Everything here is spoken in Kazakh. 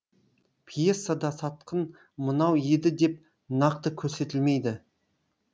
пьесада сатқын мынау еді деп нақты көрсетілмейді